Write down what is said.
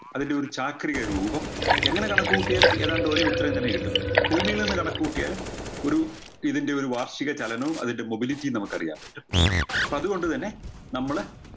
അതിൻറെ ഒരു ചാക്രിക രൂപം എങ്ങനെ കണക്ക് കൂട്ടിയാലും ഏതാണ്ട് ഒരേ ഉത്തരം തന്നെ കിട്ടും ഭൂമിയിൽ നിന്ന് കണക്ക് കൂട്ടിയാലും ഒരു ഇതിൻറെയൊരു വാർഷിക ചലനവും അതിന്റെ mobility യും നമുക്കറിയാൻ പറ്റും പ്പോ അത് കൊണ്ട് തന്നെ നമ്മള്